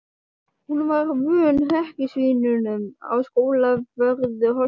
Hún var vön hrekkjusvínunum á Skólavörðu- holtinu.